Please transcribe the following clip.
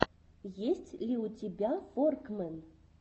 есть ли у тебя форкмэн